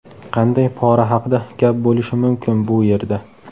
Qanday pora haqida gap bo‘lishi mumkin bu yerda?